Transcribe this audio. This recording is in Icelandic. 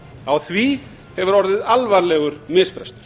á því hefur orðið alvarlegur misbrestur